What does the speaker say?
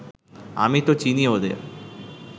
আমি তো চিনি ওদের